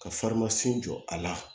Ka jɔ a la